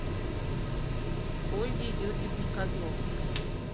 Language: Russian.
ольге юрьевне козловской